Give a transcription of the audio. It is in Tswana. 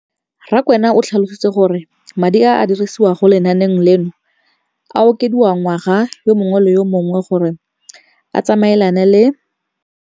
Rakwena o tlhalositse gore madi a a dirisediwang lenaane leno a okediwa ngwaga yo mongwe le yo mongwe go tsamaelana le